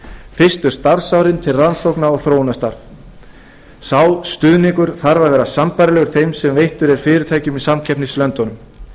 fyrstu starfsárin til rannsókna og þróunarstarfs sá stuðningur þarf að vera sambærilegur og veitt er fyrirtækjum í samkeppnislöndunum